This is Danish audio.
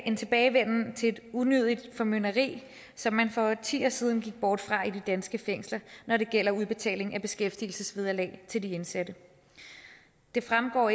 en tilbagevenden til et unødigt formynderi som man for årtier siden gik bort fra i de danske fængsler når det gælder udbetaling af beskæftigelsesvederlag til de indsatte det fremgår